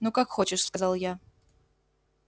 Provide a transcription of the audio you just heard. ну как хочешь сказал я